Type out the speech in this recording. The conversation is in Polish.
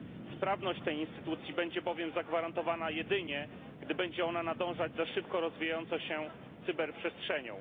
Sprawność tej instytucji będzie bowiem zagwarantowana jedynie, gdy będzie ona nadążać za szybko rozwijającą się cyberprzestrzenią.